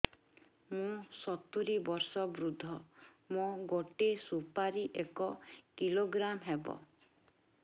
ମୁଁ ସତୂରୀ ବର୍ଷ ବୃଦ୍ଧ ମୋ ଗୋଟେ ସୁପାରି ଏକ କିଲୋଗ୍ରାମ ହେବ